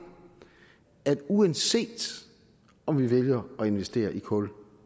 at man uanset om man vælger at investere i kul